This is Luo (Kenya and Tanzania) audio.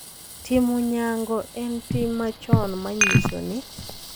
Timo nyango en tim machon ma nyiso ni .